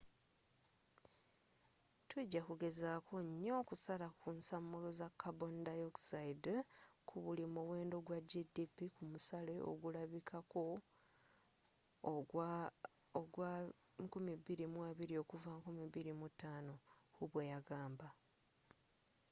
tujja kugezaako nyo okusala ensamulo za karboni dioxide ku buli muwendo gwa gdp ku musale ogulabikako ogwa 2020 okuva 2005,” hu bweyagamba